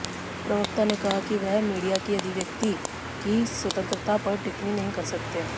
प्रवक्ता ने कहा कि वह मीडिया की अभिव्यक्ति की स्वतंत्रता पर टिप्पणी नहीं कर सकते